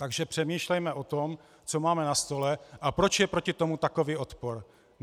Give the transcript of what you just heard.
Takže přemýšlejme o tom, co máme na stole a proč je proti tomu takový odpor.